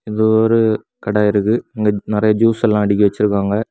இங்க ஒரு கட இருக்கு இங்க நறைய ஜூஸ் எல்லா அடுக்கி வச்சிருக்காங்க.